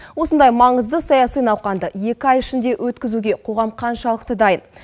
осындай маңызды саяси науқанды екі ай ішінде өткізуге қоғам қаншалықты дайын